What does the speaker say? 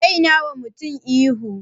Dai nawa mutane ihu